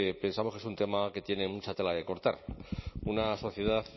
pensamos que es un tema que tiene mucha tela que cortar una sociedad